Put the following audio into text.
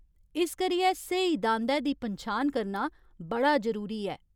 इस करियै स्हेई दांदै दी पन्छान करना बड़ा ज़रूरी ऐ।